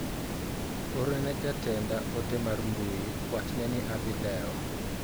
Orne jatenda ote mar mbui wachne ni adhi lewo.